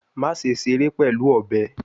Maṣe ṣere pẹlu ọbẹ